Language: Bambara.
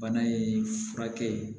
Bana in furakɛ